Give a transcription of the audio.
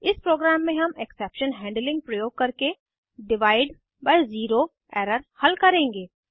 इस प्रोग्राम में हम एक्सेप्शन हैंडलिंग प्रयोग करके डिवाइड बाई ज़ीरो एरर हल करेंगे